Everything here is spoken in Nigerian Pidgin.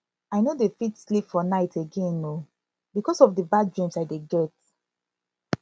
i no dey fit sleep for night again oo because of the bad dreams i dey get